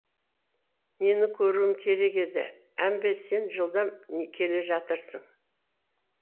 нені көруім керек еді әмбе сен жылдам келе жатырсың